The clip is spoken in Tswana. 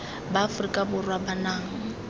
ba aforika borwa ba nang